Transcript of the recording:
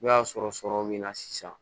N'o y'a sɔrɔ sɔrɔ bɛ n na sisan